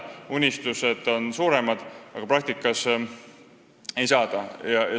Unistused on suuremad, praktikas nii palju lapsi ei saada.